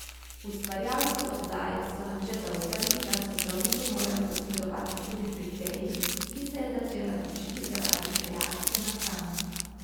Ustvarjalci oddaje so nam še zaupali, da so zdravniki morali posredovati tudi pri Teji, ki se je začela dušiti zaradi reakcije na hrano.